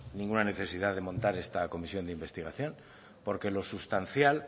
ninguna necesidad de montar esta comisión de investigación porque lo sustancial